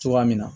Cogoya min na